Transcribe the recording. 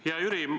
Hea Jüri!